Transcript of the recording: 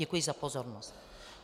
Děkuji za pozornost.